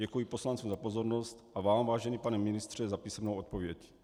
Děkuji poslancům za pozornost a vám, vážený pane ministře, za písemnou odpověď.